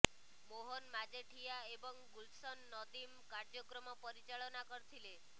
ମୋହନ ମାଜେଠିଆ ଏବଂ ଗୁଲଶନ ନଦିମ୍ କାର୍ୟ୍ୟକ୍ରମ ପରିଚାଳନା କରିଥିଲେ